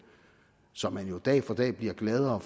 som man jo dag for dag bliver gladere